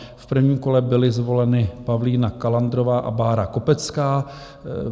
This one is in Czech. V prvním kole byly zvoleny Pavlína Kalandrová a Bára Kopecká.